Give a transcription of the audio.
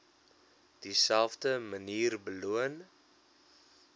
dieselfde manier beloon